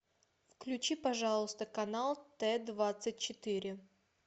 включи пожалуйста канал т двадцать четыре